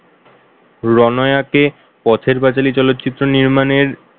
Ronaya কে পথের পাঁচালী চলচ্চিত্র নির্মাণের,